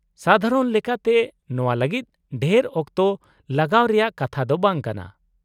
-ᱥᱟᱫᱷᱟᱨᱚᱱ ᱞᱮᱠᱟᱛᱮ, ᱱᱚᱶᱟ ᱞᱟᱹᱜᱤᱫ ᱰᱷᱮᱨ ᱚᱠᱛᱚ ᱞᱟᱜᱟᱣ ᱨᱮᱭᱟᱜ ᱠᱟᱛᱷᱟ ᱫᱚ ᱵᱟᱝ ᱠᱟᱱᱟ ᱾